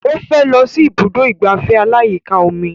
Ó fẹ́ lọ sí ibùdó ìgbafẹ́ aláyíká omi